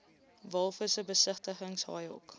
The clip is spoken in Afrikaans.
walvisse besigtiging haaihok